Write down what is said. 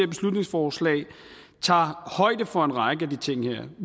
beslutningsforslag tager højde for en række af de ting vi